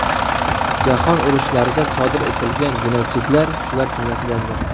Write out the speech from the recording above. Jahon urushlarida sodir etilgan genotsidlar shular jumlasidandir.